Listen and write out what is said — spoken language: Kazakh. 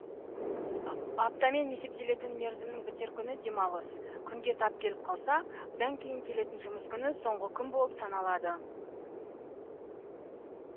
аптамен есептелетін мерзімнің бітер күні демалыс күнге тап келіп қалса бұдан кейін келетін жұмыс күні соңғы күн болып саналады